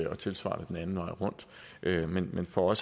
og tilsvarende den anden vej rundt men for